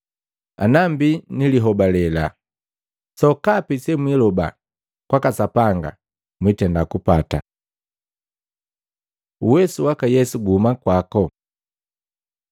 Ana mbi nilihobale, sokapi semwiloba kwaka Sapanga mwiitenda kupata.” Uwesu waka Yesu guhuma kwako Maluko 11:27-33; Luka 20:1-8